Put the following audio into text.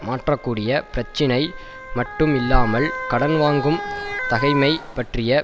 மாற்ற கூடிய பிரச்சினை மட்டும் இல்லாமல் கடன்வாங்கவும் தகமை பற்றிய